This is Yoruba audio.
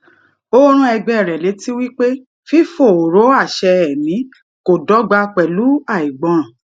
ó rán ẹgbé rẹ létí wípé fífòòró àṣẹ ẹmí kò dọgba pẹlú àìgbọràn